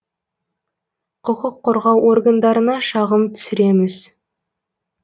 құқық қорғау органдарына шағым түсіреміз